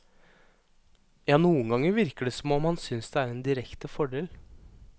Ja, noen ganger virker det som om han synes det er en direkte fordel.